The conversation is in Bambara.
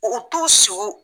U t'u sig'u